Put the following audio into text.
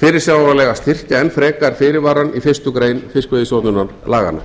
fyrirsjáanlega styrkja enn frekar fyrirvarann í fyrstu grein fiskveiðistjórnarlaganna hlýtur að